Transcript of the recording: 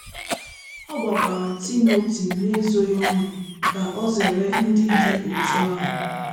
O gbakwara Timoti n’ezoghị ọnụ ka o zere ndị dị otú ahụ.